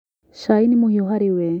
Cai nĩ mũhiũ harĩ we